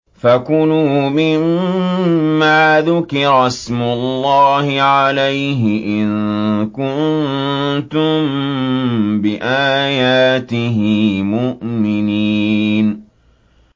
فَكُلُوا مِمَّا ذُكِرَ اسْمُ اللَّهِ عَلَيْهِ إِن كُنتُم بِآيَاتِهِ مُؤْمِنِينَ